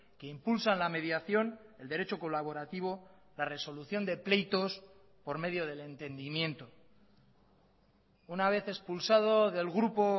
que impulsan la mediación el derecho colaborativo la resolución de pleitos por medio del entendimiento una vez expulsado del grupo